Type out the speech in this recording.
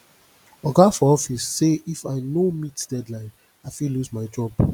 oga for office say if i no meet deadline i fit lose my job